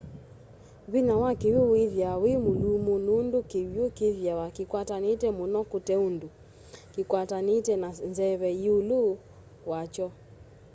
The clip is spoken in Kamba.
vĩnya wa kĩw'ũ wĩthĩawa wĩmũlũmũ nũndũ kĩw'ũ kĩthĩawa kĩkwatanĩte mũno kũteũndũ kĩkwatanĩte na nzeve yĩũlũ wa kyo